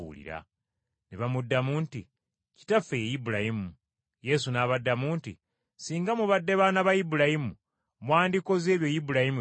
Ne bamuddamu nti, “Kitaffe ye Ibulayimu.” Yesu n’abaddamu nti, “Singa mubadde baana ba Ibulayimu mwandikoze ebyo Ibulayimu bye yakola.